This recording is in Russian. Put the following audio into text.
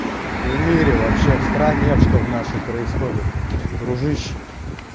в мире вообще в стране что в нашей происходит дружище